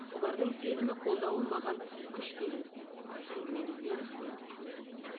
олардың сенімі қолдауы маған күш береді әңгімеңізге рахмет